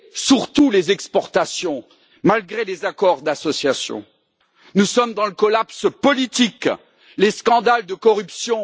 Surtout les exportations, et ce malgré les accords d'association. Nous sommes dans le collapse politique, les scandales de corruption.